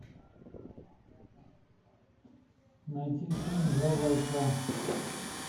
найти фильм два бойца